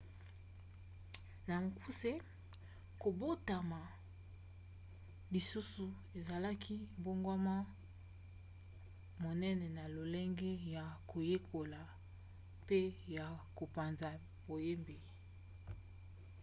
na mokuse kobotama lisusu esalaki mbongwana monene na lolenge ya koyekola mpe ya kopanza boyebi